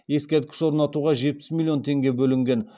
ескерткіш орнатуға жетпіс миллион теңге бөлінген